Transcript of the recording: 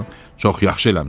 Çox yaxşı eləmisən.